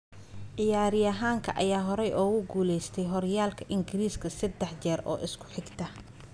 Ciyaaryahanka ayaa horay ugu guuleystay horyaalka Ingiriiska seddex jeer oo isku xigta.